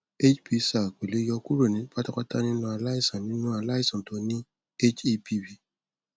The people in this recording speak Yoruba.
hbsag kò lè yo kúrò pátápátá nínú aláìsàn nínú aláìsàn tó ní hepb